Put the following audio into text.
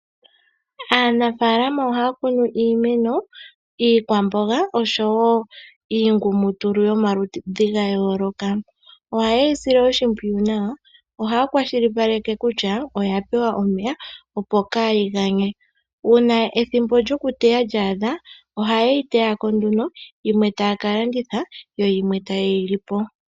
Anafaalama ohaya kunu iimeno iikwamboga oshowo iingumutulu yomaludhi ga yooloka, oha yeyi sile oshipwiyu nawa ohaya kwashilipaleke kutya oya pewa omeya opo kayi ganye, uuna ethimbo lyoku teya lyaadha oha yeyi teya ko nduno yimwe taya kalanditha yo yimwe ta yeyi li po.